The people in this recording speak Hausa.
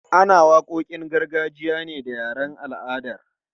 Ana waƙoƙin gargajiya ne da yaren al'adar.